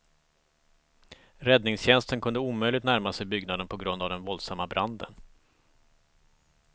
Räddningstjänsten kunde omöjligt närma sig byggnaden på grund av den våldsamma branden.